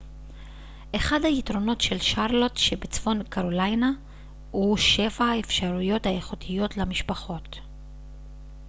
אחד היתרונות של שרלוט שבצפון קרוליינה הוא שפע האפשרויות האיכותיות למשפחות